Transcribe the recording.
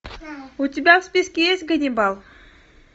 у тебя в списке есть ганнибал